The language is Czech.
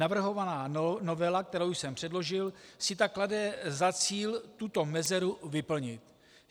Navrhovaná novela, kterou jsem předložil, si tak klade za cíl tuto mezeru vyplnit.